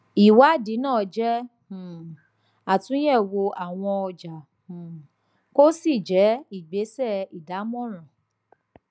ìwádìí náà jé um àtúnyèwò àwọn ọjà um kò sì jẹ ìgbésẹ ìdámọràn